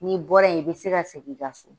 N'i bɔra yen, i bɛ se ka segin i ka so.